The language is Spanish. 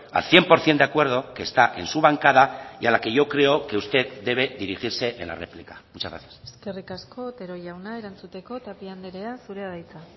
al cien por ciento de acuerdo que está en su bancada y a la que yo creo que usted debe dirigirse en la réplica muchas gracias eskerrik asko otero jauna erantzuteko tapia andreea zurea da hitza